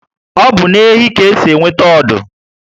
Obu na ehi ka esi enweta ọdụ